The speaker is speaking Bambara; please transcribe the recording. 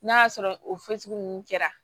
N'a y'a sɔrɔ o ninnu kɛra